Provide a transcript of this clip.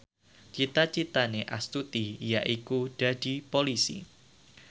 cita citane Astuti yaiku dadi Polisi